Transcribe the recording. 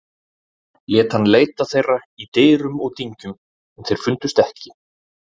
Lét hann leita þeirra í dyrum og dyngjum en þeir fundust ekki.